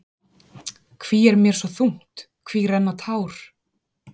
Hví er mér svo þungt, hví renna tár?